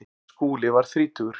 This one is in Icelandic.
Skúli varð þrítugur.